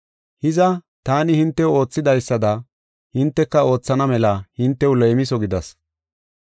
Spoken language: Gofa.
Hiza, taani hintew oothidaysada hinteka oothana mela hintew leemiso gidas.